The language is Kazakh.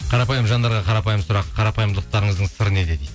қарапайым жандарға қарапайым сұрақ қарапайымдылықтарыңыздың сыры неде дейді